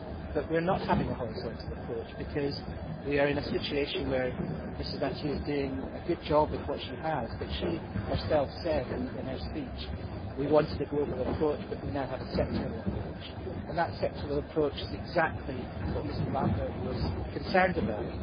However, we are not having a horizontal approach because we are in a situation where Mrs Mathieu is doing a good job with what she has but, as she said in her speech, we wanted a global approach but we now have a sectoral approach, and that sectoral approach is exactly what Mrs Lambert was concerned about.